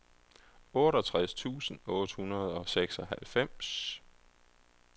otteogtres tusind otte hundrede og seksoghalvfems